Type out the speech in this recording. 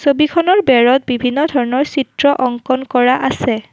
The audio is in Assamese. ছবিখনৰ বেৰত বিভিন্ন ধৰণৰ চিত্ৰ অংকন কৰা আছে।